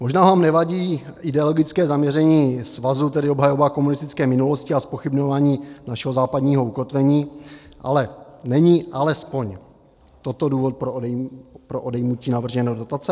Možná vám nevadí ideologické zaměření svazu, tedy obhajoba komunistické minulosti a zpochybňování našeho západního ukotvení, ale není alespoň toto důvod pro odejmutí navržené dotace?